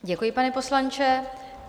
Děkuji, pane poslanče.